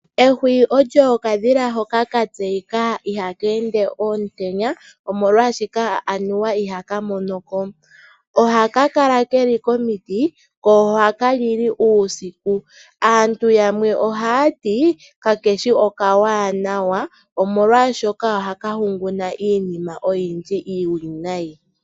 Ehwiyu olyo okadhila hoka ka tseika ihakeende ontenya, omolwaashika anuwa ihaka monoko. Ohakakala keli komuti koohaka lili uusiku, aantu yamwe ohayati kakeshi okawaanawa, omolwaashoka ohaka hunguna iinima oyindji iiwinayi.